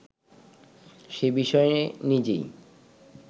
সে-বিষয়ে নিজেই